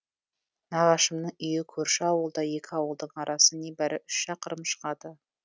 нағашымның үйі көрші ауылда екі ауылдың арасы небәрі үш шақырым шығады